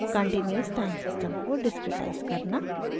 * continuous सतत time system को discretise करना